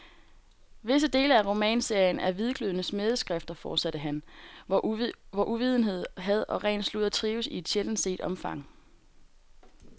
Visse dele af romanserien er hvidglødende smædeskrifter, fortsatte han, hvor uvidenhed, had og ren sludder trives i et sjældent set omfang.